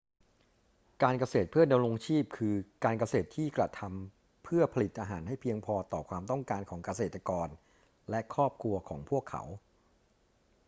การเกษตรเพื่อดำรงชีพ คือการเกษตรที่กระทำพื่อผลิตอาหารให้เพียงพอต่อความต้องการของเกษตรกรและครอบครัวของพวกเขา